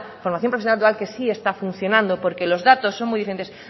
formación profesional dual que sí está funcionando porque los datos son muy diferentes